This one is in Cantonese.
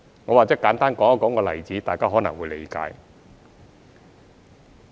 我或者簡單說一個例子，大家可能會理解。